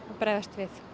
bregðast við